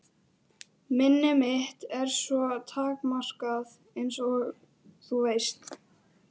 Minni mitt er svo takmarkað einsog þú veist.